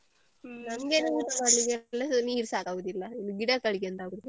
ನಮ್ಗೆನೆ use ಮಾಡ್ಲಿಕ್ಕೆಲ್ಲ ನೀರು ಸಾಕಾಗುದಿಲ್ಲ ಇನ್ನು ಗಿಡಗಳಿಗೆ ಎಂತ ಹಾಕುದು.